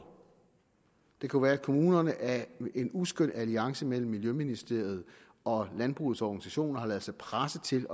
det kunne være at kommunerne af en uskøn alliance mellem miljøministeriet og landbrugets organisationer har ladet sig presse til